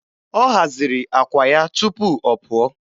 Ọ haziri àkwà ya tupu ọ pụọ.